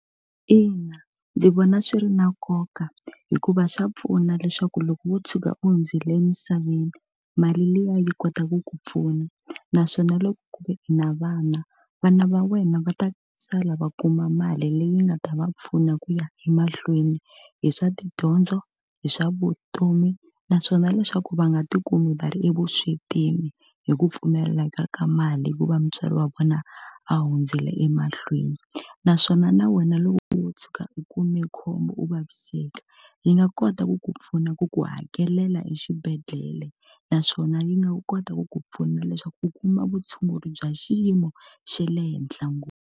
Ina ndzi vona swi ri na nkoka hikuva swa pfuna leswaku loko wo tshuka u hundzile emisaveni, mali liya yi kotaka ku pfuna. Naswona loko ku ve i na vana, vana va wena va ta sala va kuma mali leyi nga ta va pfuna ku ya emahlweni hi swa tidyondzo, hi swa vutomi, naswona leswaku va nga tikumi va ri evuswetini hi ku pfumaleka ka mali hi ku va mutswari wa vona a hundzile emahlweni. Naswona na wena loko wo tshuka u kume khombo u vaviseka, yi nga kota ku ku pfuna ku ku hakelela exibedhlele, naswona yi nga kota ku ku pfuna leswaku u kuma vutshunguri bya xiyimo xa le henhla ngopfu.